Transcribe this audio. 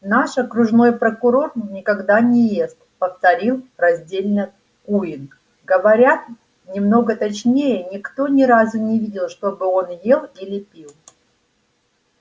наш окружной прокурор никогда не ест повторил раздельно куинн говоря немного точнее никто ни разу не видел чтобы он ел или пил